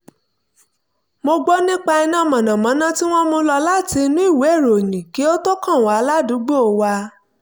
mo gbọ́ nípa iná mọ̀nàmọ́ná tí wọ́n mú lọ láti inú ìwé ìròyìn kí ó tó kàn wá ládùúgbò wa